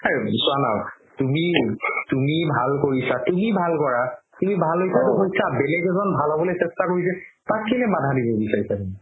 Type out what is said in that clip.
এই চোৱা না তুমি, তুমি ভাল কৰিছা তুমি ভাল কৰা তুমি ভাল হৈছা তু হৈছা বেলেগ এজন ভাল হ'বলৈ চেষ্টা কৰিছে তাক কেলেই বাধা দিব বিচাৰিছা তুমি